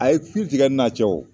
A ye tigɛ n'a cɛ wo